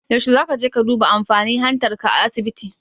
Yaushe zaka je ka duba amfani hantar ka a asibiti?